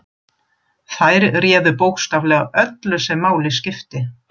Þær réðu bókstaflega öllu sem máli skipti.